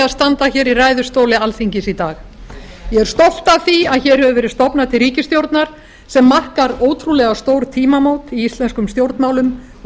standa hér í ræðustóli alþingis í dag ég er stolt af því að hér hefur verið stofnað til ríkisstjórnar sem markar ótrúlega stór tímamót í íslenskum stjórnmálum og